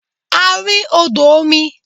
A rí odò omi.